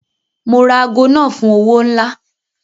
Mo ra aago náà fún owó ńlá.